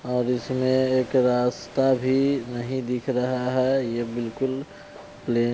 और इसमें एक रास्ता भी नहीं दिख रहा है ये बिल्कुल प्ले--